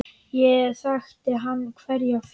Hér þekkti hann hverja fjöl.